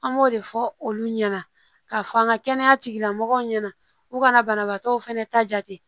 An b'o de fɔ olu ɲɛna ka fɔ an ka kɛnɛya tigilamɔgɔw ɲɛna u kana banabagatɔw fɛnɛ ta jate